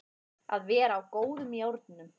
Að vera á góðum járnum